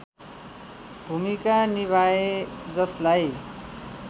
भूमिका निभाए जसलाई